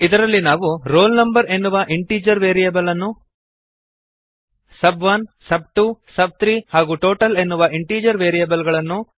ಇದರಲ್ಲಿ ನಾವು roll no ಎನ್ನುವ ಇಂಟೀಜರ್ ವೇರಿಯಬಲ್ ಅನ್ನು ಸಬ್1 ಸಬ್2 ಸಬ್3 ಹಾಗೂ ಟೋಟಲ್ ಎನ್ನುವ ಇಂಟೀಜರ್ ವೇರಿಯಬಲ್ ಗಳನ್ನು